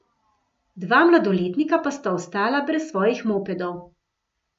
Dva mladoletnika pa sta ostala brez svojih mopedov.